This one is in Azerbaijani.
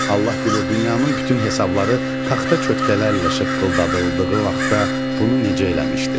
Allah bilir, dünyanın bütün hesabları taxta çökəkələrlə şıqqıldadıldığı vaxtda bunu necə eləmişdi?